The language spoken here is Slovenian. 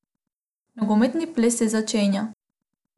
Nogometni ples se začenja!